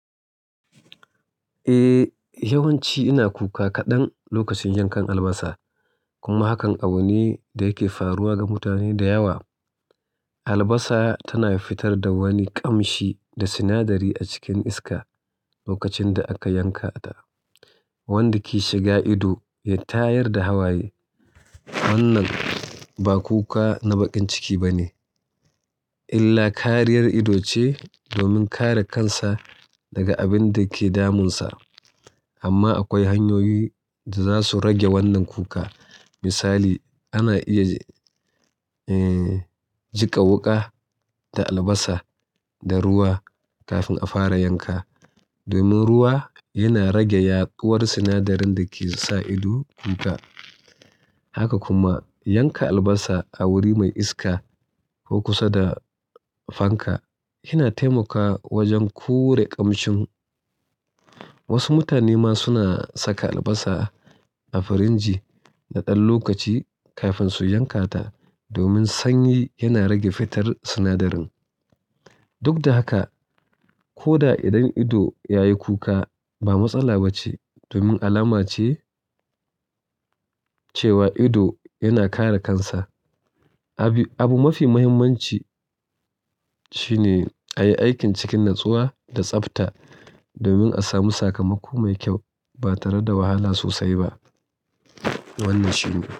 Eh, yawanci ina kuka kaɗan lokacin yankan albasa kuma hakan awanni da yake faruwa ga mutane da yawa. Albasa tana fitar da wani ƙamshi da sinadari a cikin iska lokacin da aka yanka ta, wanda ke shiga ido, ya tayar da hawaye. Wannan ba kuka na baƙin ciki ba ne, illa kariyar ido ce, domin kare kansa daga abin da ke damun sa. Amma akwai hanyoyi da za su rage wannan kuka. Misali, ana iya, eh, jika wuƙa, da albasa, da ruwa kafin a fara yanka domin ruwa yana rage yaƙuwar sinadarin da ke sa ido kuka. Haka kuma yanka albasa, a wuri mai iska ko kusa da fanka. Yana taimakawa wajen kure ƙamshin. Wasu mutane ma suna saka albasa a firinji na ɗan lokaci kafin su yanka ta, domin sanyi yana rage fitar sinadarin. Duk da haka, ko da idon ido ya yi kuka, ba matsala ba ce domin alama ce cewa ido yana kare kansa. Abi, abu mafi muhimmanci shine a yi aikin cikin natsuwa da tsafta domin a samu sakamako mai kyau, ba tare da wahala sosai ba. Wannan shi ne.